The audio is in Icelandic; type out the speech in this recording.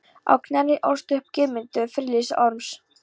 Á Knerri ólst og upp Guðmundur, frilluson Orms.